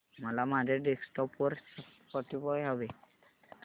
मला माझ्या डेस्कटॉप वर स्पॉटीफाय हवंय